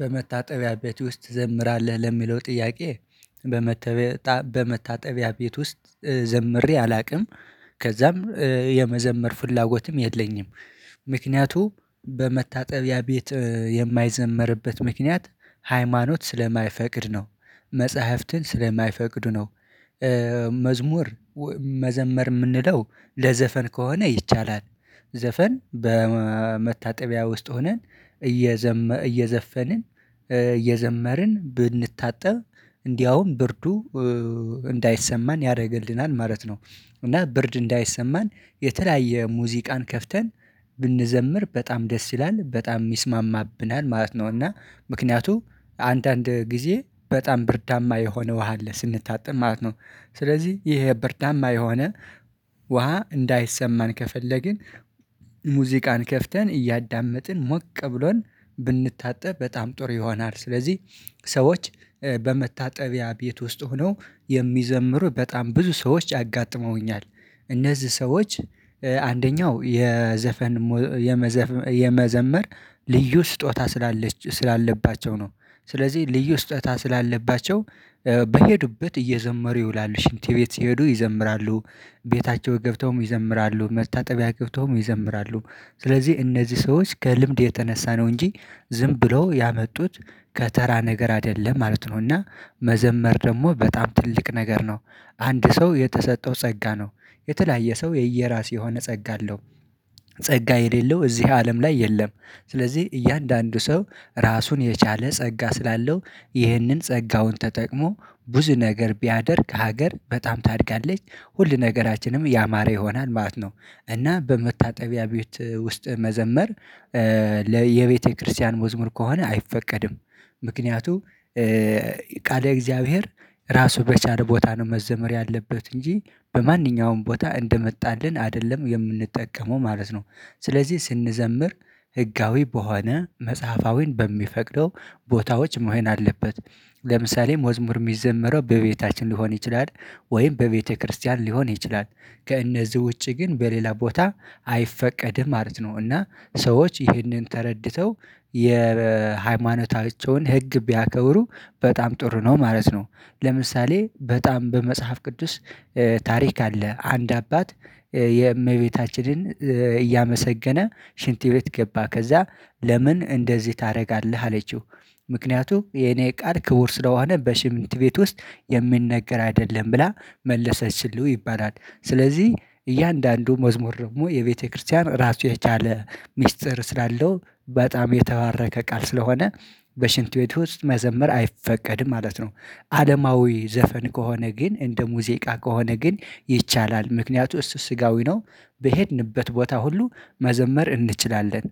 በመታጠቢያ ቤት ውስጥ ትዘምራለህ ለሚለው ጥያቄ? በመታጠቢያ ቤት ውስጥ ዘምሬ አላቅም። ከዛም የመዘመር ፍላጎትም የለኝም። ምክንያቱ በመታጠቢያ ቤት የማይዘመርበት ምክንያት ሃይማኖት ስለማይፈቅድ ነው መጽሐፍትን ስለማይፈቅዱ ነው። መዝሙር መዘመር ምንለው ለዘፈን ከሆነ ይቻላል። ዘፈን በመታጠቢያ ውስጥ ሆነን እየዘመ እየዘፈንን የዘመርን ብንታጠብ እንዲያውም ብርዱ እንዳይሰማን ያደርግልናል ማለት ነው። እና ብርድ እንዳይሰማን የተለያየ ሙዚቃን ከፍተን ብንዘምር በጣም ደስ ይላል በጣም ይስማማብናል ማለት ነው። እና ምክንያቱም አንዳንድ ጊዜ በጣም ብርዳማ የሆነ ውሃ አለ ስንታጠብ ማለት ነው። ስለዚህ ይሄ ብርዳማ የሆነ ውሃ እንዳይሰማን ከፈለግን ሙዚቃን ከፍተን እያዳመጥን ሞቅ ብሎን ብንታጠብ በጣም ጥር ይሆናል። ስለዚህ ሰዎች በመታጠቢያ ቤት ውስጥ ሆነው የሚዘምሩ በጣም ብዙ ሰዎች አጋጥመውኛል እነዚህ ሰዎች አንደኛው የዘፈን የመዘመር ልዩ ስጦታ ስላለች ስላለባቸው ነው። ስለዚህ ልዩ ስጦታ ስላለባቸው በሄዱበት እየዘመሩ ይውላሉ ሽንት ቤት ሲሄዱ ይዘምራሉ ቤታቸው ገብተውም ይዘምራሉ መታጠቢያ ግብተውም ይዘምራሉ። ስለዚህ እነዚህ ሰዎች ከልምድ የተነሳ ነው እንጂ ዝም ብለው ያመጡት ከተራ ነገር አይደለም ማለት ነውና። መዘመር ደግሞ በጣም ትልቅ ነገር ነው። አንድ ሰው የተሰጠው ጸጋ ነው የተለያየ ሰው የየራሱ የሆነ ጸጋ አለው። ጸጋ የሌለው እዚህ አለም ላይ የለም። ስለዚህ እያንዳንዱ ሰው ራሱን የቻለ ጸጋ ስላለው ይህንን ጸጋውን ተጠቅሞ ብዙ ነገር ቢያደርግ ሀገር በጣም ታድጋለች ሁል ነገራችንም ያማረ ይሆናል ማለት ነው። እና በመታጠቢያ ቤት ውስጥ መዘመር ለየቤተክርስቲያን መዝሙር ከሆነ አይፈቀድም። ምክንያቱ ቃለ እግዚአብሔር ራሱ በቻለ ቦታ ነው መዘመር ያለበት እንጂ በማንኛውም ቦታ እንደመጣልን አይደለም የምንጠቀመው ማለት ነው። ስለዚህ ስንዘምር ህጋዊ በሆነ መጽሐፋዊን በሚፈቅደው ቦታዎች መሆን አለበት። ለምሳሌ መዝሙር ሚዘምረው በቤታችን ሊሆን ይችላል ወይም በቤተክርስቲያን ሊሆን ይችላል። ከእነዚህ ውጪ ግን በሌላ ቦታ አይፈቀድም ማለት ነው። እና ሰዎች ይህንን ተረድተው የሃይማኖታቸውን ህግ ቢያከብሩ በጣም ጥሩ ነው ማለት ነው። ለምሳሌ በጣም በመጽሐፍ ቅዱስ ታሪክ አለ አንድ አባት የእመቤታችንን እያመሰገነ ሽንት ቤት ገባ ከዛ ለምን እንደዚህ ታደርጋለህ አለችው። ምክንያቱም የኔ ቃል ክቡር ስለሆነ በሽንት ቤት ውስጥ የምንነገር አይደለም ብላ መለሰችለት ይባላል። ስለዚህ እያንዳንዱ መዝሙር ደግሞ የቤተክርስቲያን ራሱ የቻለ ሚስጥር ስላለው በጣም የተባረከ ቃል ስለሆነ በሽንት ቤት ውስጥ መዘመር አይፈቀድም ማለት ነው። አለማዊ ዘፈን ከሆነ ግን እንደ ሙዚቃ ከሆነ ግን ይቻላል። ምክንያቱ እሱ ስጋዊ ነው። በሄድንበት ቦታ ሁሉ መዘመር እንችላለን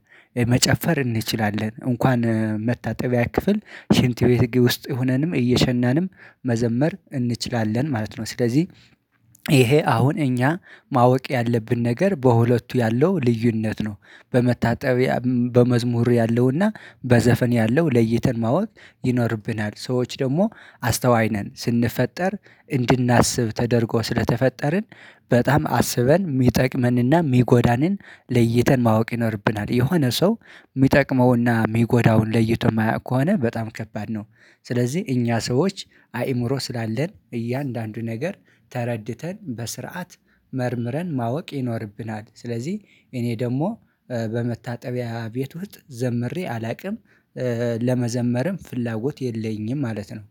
መጨፈር እንችላለን እንኳን መታጠቢያ ክፍል ሽንት ቤት ውስጥ ሆነንም እየሸናንም መዘመር እንችላለን ማለት ነው። ስለዚህ ይሄ አሁን እኛ ማወቅ ያለብን ነገር በሁለቱ ያለው ልዩነት ነው። በመታጠቢያ በመዝሙር ያለውና በዘፈን ያለው ለይተን ማወቅ ይኖርብናል። ሰዎች ደግሞ አስተዋይ ነን ስንፈጠር እንድናስብ ተደርጎ ስለተፈጠርን በጣም አስበን ሚጠቅመንና ሚጎዳንን ለይተን ማወቅ ይኖርብናል። የሆነ ሰው ሚጠቅመውና ሚጎዳውን ለይቶ የማያውቅ ከሆነ በጣም ከባድ ነው። ስለዚህ እኛ ሰዎች አእምሮ ስላለን እያንዳንዱ ነገር ተረድተን በስርዓት መርምረን ማወቅ ይኖርብናል። ስለዚህ እኔ ደግሞ በመታጠቢያ ቤት ውስጥ ዘምሬ አላውቅም። ለመዘመርም ፍላጎት የለኝም ማለት ነው።